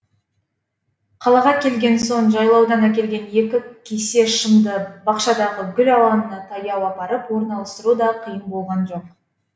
қалаға келген соң жайлаудан әкелген екі кесе шымды бақшадағы гүл алаңына таяу апарып орналастыру да қиын болған жоқ